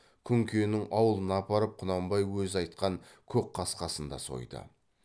күнкенің аулына апарып құнанбай өзі айтқан көкқасқасын да сойды